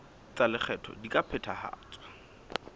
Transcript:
tsa lekgetho di ka phethahatswa